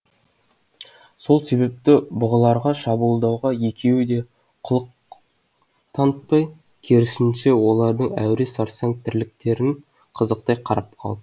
сол себепті бұғыларға шабуылдауға екеуі де құлық танытпай керісінше олардың әуре сарсаң тірліктерін қызықтай қарап қалыпты